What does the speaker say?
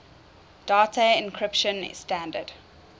data encryption standard